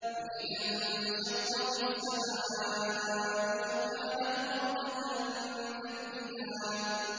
فَإِذَا انشَقَّتِ السَّمَاءُ فَكَانَتْ وَرْدَةً كَالدِّهَانِ